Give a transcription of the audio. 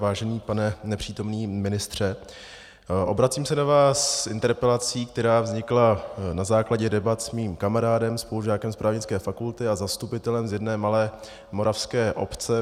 Vážený pane nepřítomný ministře, obracím se na vás s interpelací, která vznikla na základě debat s mým kamarádem spolužákem z právnické fakulty a zastupitelem z jedné malé moravské obce.